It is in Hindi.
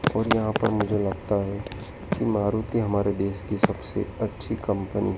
और यहां पर मुझे लगता है कि मारुति हमारे देश की सबसे अच्छी कंपनी --